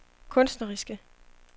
kunstneriske